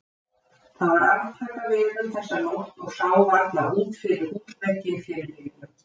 Það var aftakaveður þessa nótt og sá varla út fyrir húsvegginn fyrir bylnum.